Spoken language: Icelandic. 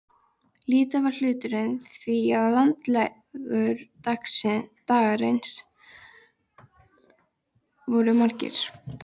Lítill var hluturinn því að landlegudagarnir voru margir.